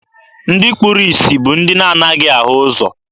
Ndị kpuru isi bụ ndị na-anaghị ahụ ụzọ.